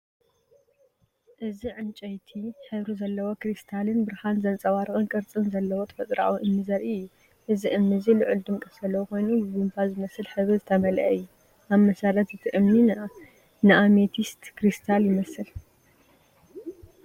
እዚ ዕንጨይቲ ሕብሪ ዘለዎ ክሪስታልን ብርሃን ዘንጸባርቕ ቅርጽን ዘለዎ ተፈጥሮኣዊ እምኒ ዘርኢ እዩ። እዚ እምኒ እዚ ልዑል ድምቀት ዘለዎ ኮይኑ ብቡምባ ዝመስል ሕብሪ ዝተመልአ እዩ። ኣብ መሰረት እቲ እምኒ ንኣሜቲስት ክሪስታል ይመስል።